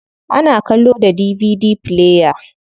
Ana kallo da DVD player.